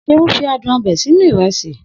Seun fi adùn ọbẹ̀ sínú ìrẹsì.